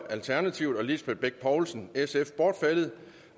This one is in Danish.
og lisbeth bech poulsen bortfaldet